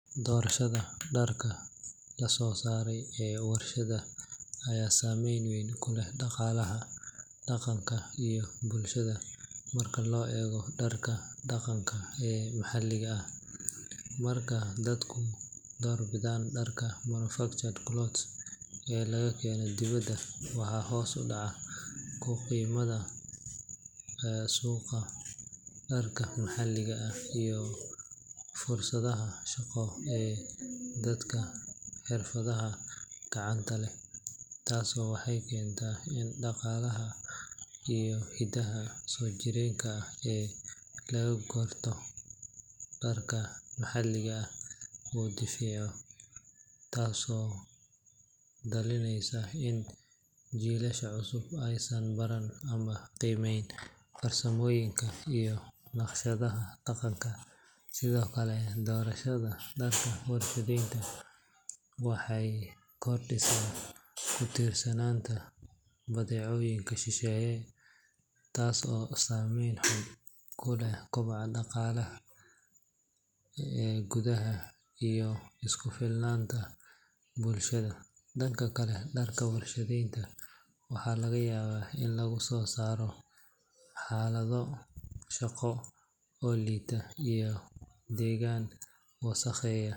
Doorashada dharka la soo saaray ee warshadaha ayaa saameyn weyn ku leh dhaqaalaha, dhaqanka, iyo bulshada marka loo eego dharka dhaqanka ee maxalliga ah. Marka dadku door bidaan dharka manufactured clothes ee laga keeno dibadda, waxaa hoos u dhac ku yimaada suuqa dharka maxalliga ah iyo fursadaha shaqo ee dadka xirfadaha gacanta leh. Tani waxay keentaa in dhaqanka iyo hidaha soo jireenka ah ee lagu garto dharka maxalliga ah uu daciifo, taasoo dhalinaysa in jiilasha cusub aysan baran ama qiimeynin farsamooyinka iyo naqshadaha dhaqanka. Sidoo kale, doorashada dharka warshadaysan waxay kordhisaa ku tiirsanaanta badeecooyinka shisheeye, taas oo saamayn xun ku leh koboca dhaqaalaha gudaha iyo isku filnaanta bulshada. Dhanka kale, dharka warshadaysan waxaa laga yaabaa in lagu soo saaro xaalado shaqo oo liita iyo deegaan wasakheeya.